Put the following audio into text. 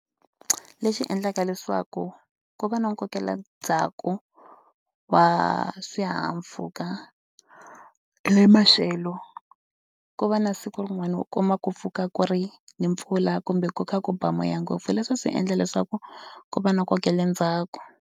Lexi endlaka leswaku ku va na ku kokela ndzhaku wa swihahampfhuka ni maxelo, ku va na siku rin'wana u kuma ku pfuka ku ri ni mpfula kumbe ku kha ku ba moya ngopfu sweswo swi endla leswaku ku va na ku kokela ndzhaku.